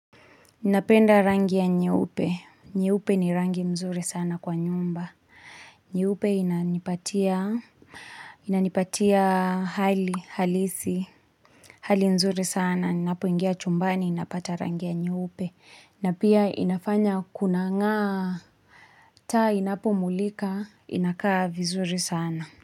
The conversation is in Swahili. Napenda rangi ya nyeupe. Nyupe ni rangi mzuri sana kwa nyumba. Nyeupe inanipatia inanipatia hali halisi, hali nzuri sana. Ninapoingia chumbani, ninapata rangi ya nyeupe. Na pia inafanya kuna ng'aa, taa inapomulika, inakaa vizuri sana.